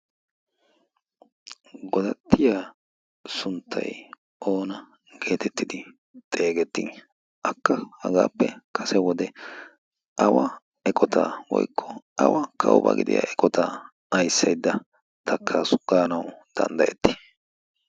godattiya sunttay oona geetettidi xeegetti akka hagaappe kase wode awa eqotaa woikko awa kaubaa gidiya eqotaa aissaidda takkasugaanau danddayetti?